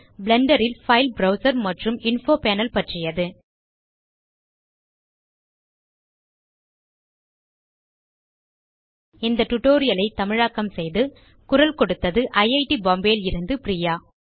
Blender ல் file browser மற்றும் info panel பற்றியது இந்த tutorial ஐ தமிழாக்கம் செய்து குரல் கொடுத்தது ஐட் பாம்பே லிருந்து பிரியா